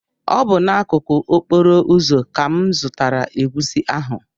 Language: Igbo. Ọ bụ n’akụkụ okporo ụzọ ka m zụtara egusi ahụ